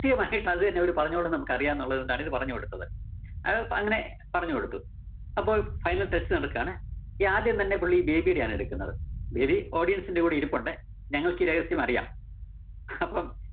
ത്യമായിട്ട് അത് തന്നെ അവരു പറഞ്ഞോളണം എന്ന് നമുക്കറിയാന്നുള്ളതുകൊണ്ട് അവര് പറഞ്ഞു കൊടുത്തത്. അത് തന്നെ പറഞ്ഞുകൊടുത്തു. അപ്പോ final test നടക്കാണ്. ഈ ആദ്യം തന്നെ പുള്ളി ബേബിടെ ആണ് എടുക്കുന്നത്. ബേബി audience ന്റെ കൂടെ ഇരിപ്പുണ്ട്. ഞങ്ങള്‍ക്കീ രഹസ്യം അറിയാം. അപ്പം